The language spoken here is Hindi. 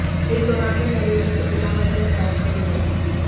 इस दौरान वे नरेंद्र से बिना वजह बहस करने लगे